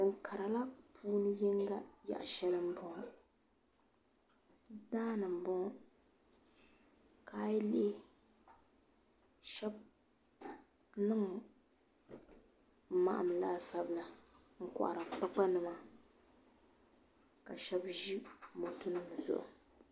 Da kara maa puuni yaɣa shɛli yinga n boŋo daani n boŋo a yi lihi shab niŋ maham laasabu la n kohari kpakpa nima ka shab ʒi moto nim zuɣu